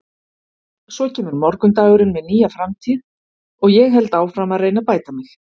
Svo kemur morgundagurinn með nýja framtíð og ég held áfram að reyna að bæta mig.